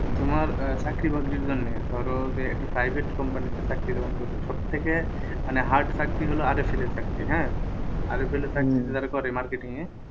Primary এর চাকরি আছে সরকারি তোমার আহ চাকরি বাকরির জন্য ধরো যে একটা private company তে চাকরি সব থেকে মানে hard চাকরি হলো এর চাকরি হ্যাঁ এর চাকরি যারা করে marketing এ